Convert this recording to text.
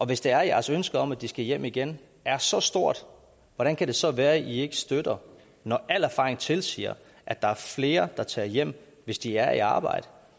hvis det er at jeres ønske om at de skal hjem igen er så stort hvordan kan det så være at i ikke støtter det når al erfaring tilsiger at der er flere der tager hjem hvis de er i arbejde